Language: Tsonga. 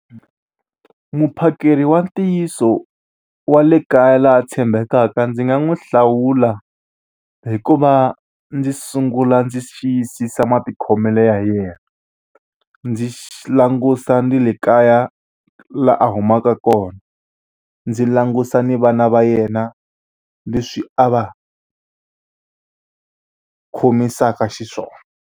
Muphakeri wa ntiyiso wa le kaya la tshembekaka ndzi nga n'wi hlawula hi ku va ndzi sungula ndzi xiyisisa matikhomelo ya yena. Ndzi langutisa ni le kaya laha a humaka kona, ndzi langutisa ni vana va yena leswi a va khomisaka xiswona.